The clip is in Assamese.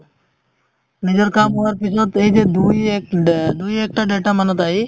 নিজৰ কামৰ কাৰণে পিছৰ এই যে দুই এক দুই এক দুই এক্তা দেৰতা মানত আহি